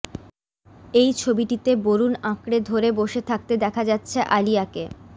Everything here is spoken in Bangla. এই ছবিটিতে বরুণ আঁকড়ে ধরে বসে থাকতে দেখা যাচ্ছে আলিয়াকে